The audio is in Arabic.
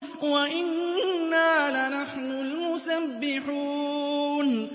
وَإِنَّا لَنَحْنُ الْمُسَبِّحُونَ